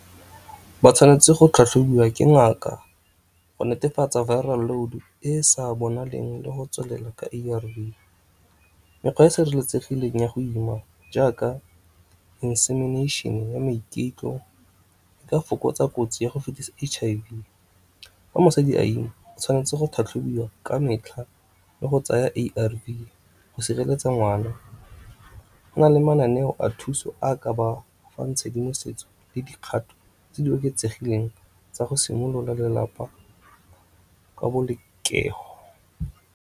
Ba tshwanetse go tlhatlhobiwa ke ngaka go netefatsa viral load e sa bonaleng le go tswelela ka A_R_V. Mekgwa e e sireletsegileng ya go ima jaaka insemination ya e ka fokotsa kotsi ya go fetisa H_I_V. Fa mosadi a ima o tshwanetse go tlhatlhobiwa ka metlha le go tsaya A_R_V go sireletsa ngwana. Go na le mananeo a thuso a ka ba fang tshedimosetso le dikgato tse di oketsegileng tsa go simolola lelapa ka .